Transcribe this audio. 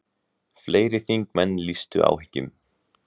Fleiri þingmenn lýstu áhyggjum.